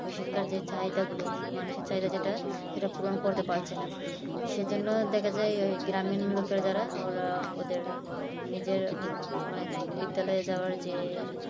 ওই শিক্ষার্থী চাহিদা গুলো মানুষের চাহিদা যেটা সেটা পূরণ করতে পারছে না সেজন্য দেখা যায় ওই গ্রামের লোকের যারা ওরা ওদের নিজের মানে বিদ্যালয়ে যাওয়ার যে